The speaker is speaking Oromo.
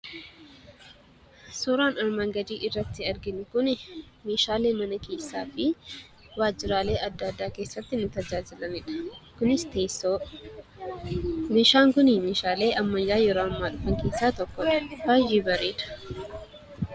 Suuraan armaan gadi irratti arginu kun, meeshaalee mana keessa fi waajiraalee adda addaa keesaatti nu tajaajilanidha. Kunis teessoo. Meeshaan kunii meeshaalee ammayyaa yeroo ammaa dhufan keessaa tokkodha. Baayyee bareeda.